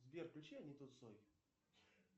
сбер включи аниту цой